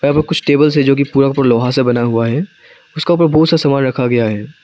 कुछ टेबल से जो कि पूरा का पूरा लोहा से बना हुआ है उसका ऊपर बहुत सा सामान रखा गया है।